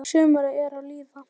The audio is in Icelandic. Sumarið er að líða.